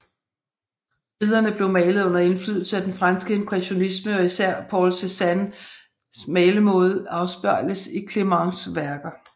Billederne blev malet under indflydelse af den franske impressionisme og især Paul Cézanne malemåde afspejles i Clements værker